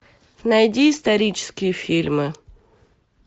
найди исторические фильмы